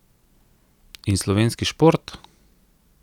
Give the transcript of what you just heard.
In slovenski šport?